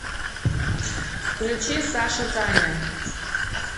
включи саша таня